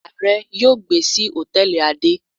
Aare yóò gbe si hòtẹ́ẹ̀lì ade.